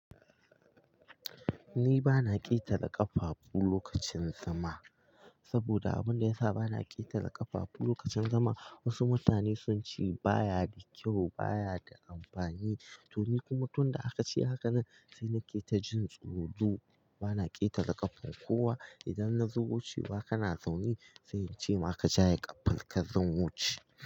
Ni ba na ƙetara ƙafafu lokacin zama. Saboda abunda yasa ba na ƙetara ƙafafu lokacin zama, wasu mutane sun ce baya da kyau, baya da amfani. To ni kuma tun da aka ce hakan nan, sai na keta jin tsoro. Ba na ƙetara ƙafan kowa. Idan na zo wuce ba kana zaune, sai in ce ma ka "jaya ƙafar ka zan wuce".